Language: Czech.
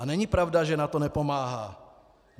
A není pravda, že NATO nepomáhá.